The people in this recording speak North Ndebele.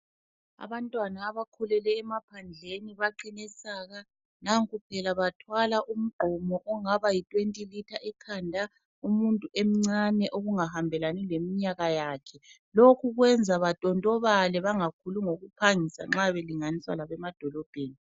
Abantwana abakhulele emaphandleni baqine saka. Nanku phela bathwala umgqomo ongaba yi 20 litha ekhanda umuntu emncane okungahambelani leminyaka yakhe. Lokhu kwenza ba tontobale bangakhuli ngokuphangisa nxa belinganiswa labemadolobheni.